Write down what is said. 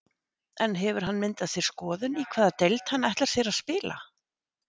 En hefur hann myndað sér skoðun í hvaða deild hann ætlar sér að spila?